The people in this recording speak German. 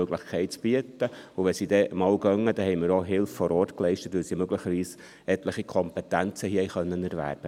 Wenn sie dann einmal weggehen, haben wir auch Hilfe vor Ort geleistet, weil sie hier möglicherweise etliche Kompetenzen erwerben konnten.